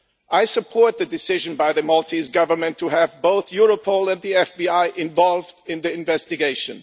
I support the decision by the Maltese Government to get both Europol and the FBI involved in the investigation.